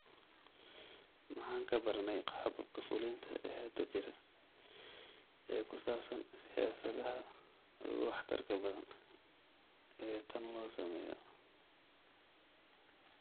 Maxaan ka baranay qaababka fulinta ee hadda jira ee ku saabsan siyaabaha ugu waxtarka badan ee tan loo sameeyo?